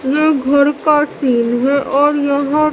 ये घर का सीन है और यहां--